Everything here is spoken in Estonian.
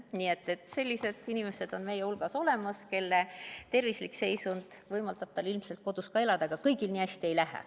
Nii et sellised inimesed on meie hulgas olemas, kelle tervislik seisund võimaldab tal ilmselt kodus elada, aga kõigil nii hästi ei lähe.